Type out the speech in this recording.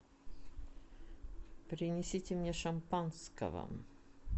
принесите мне шампанского